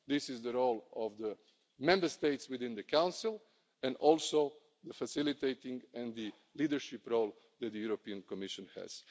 This is the role of the Member States within the Council and also the facilitating and leadership role that the European Commission